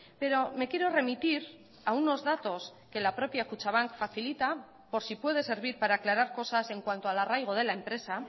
pero me quiero remitir a unos datos que la propia kutxabank facilita por si puede servir para aclarar cosas en cuanto al arraigo de la empresa